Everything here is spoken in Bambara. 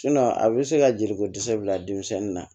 a bɛ se ka jeliko dɛsɛ bila denmisɛnnin na